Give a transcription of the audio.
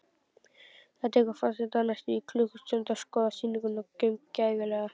Það tekur forseta næstum klukkustund að skoða sýninguna gaumgæfilega.